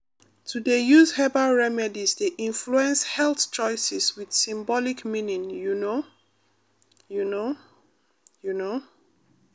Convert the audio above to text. to dey use herbal remedies dey influence health choices with symbolic meaning you know you know you know.